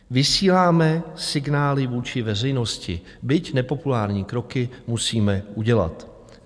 Vysíláme signály vůči veřejnosti, byť nepopulární kroky musíme udělat."